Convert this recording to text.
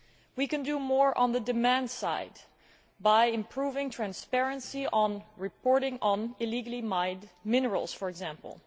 We can do more on the demand side by improving transparency in reporting on illegally mined minerals, for example.